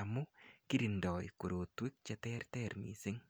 amu kirindoi korotwek cheterter mising'